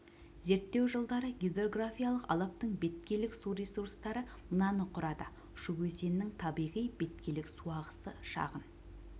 зерттеу жылдары гидрографиялық алабтың беткейлік су ресурстары мынаны құрады шу өзенінің табиғи беткейлік су ағысы шағын